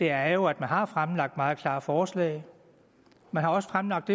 er jo at man har fremlagt meget klare forslag man har fremlagt